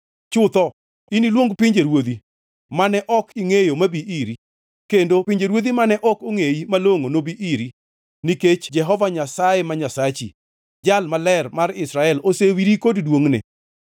Chutho iniluong pinjeruodhi mane ok ingʼeyo mabi iri, kendo pinjeruodhi mane ok ongʼeyi malongʼo nobi iri, nikech Jehova Nyasaye ma Nyasachi, Jal Maler mar Israel osewiri kod duongʼne.”